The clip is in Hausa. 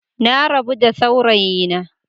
Na rabu da saurayina.